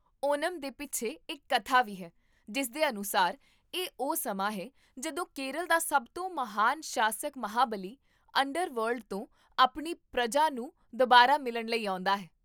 ਓਨਮ ਦੇ ਪਿੱਛੇ ਇੱਕ ਕਥਾ ਵੀ ਹੈ, ਜਿਸ ਦੇ ਅਨੁਸਾਰ, ਇਹ ਉਹ ਸਮਾਂ ਹੈ, ਜਦੋਂ ਕੇਰਲ ਦਾ ਸਭ ਤੋਂ ਮਹਾਨ ਸ਼ਾਸਕ ਮਹਾਬਲੀ, ਅੰਡਰਵਰਲਡ ਤੋਂ ਆਪਣੀ ਪਰਜਾ ਨੂੰ ਦੁਬਾਰਾ ਮਿਲਣ ਲਈ ਆਉਂਦਾ ਹੈ